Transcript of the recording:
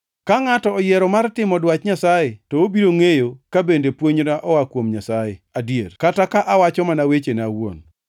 Ka ngʼato oyiero mar timo dwach Nyasaye, to obiro ngʼeyo ka bende puonjna oa kuom Nyasaye adier, kata ka awacho mana wechena awuon.